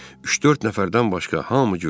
Üç-dörd nəfərdən başqa hamı güldü.